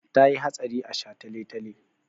Ta yi hatsari a shataletale.